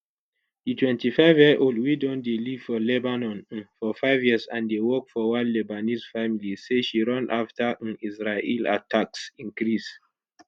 di 25yearold wey don dey live for lebanon um for five years and dey work for one lebanese family say she run afta um israel attacks increase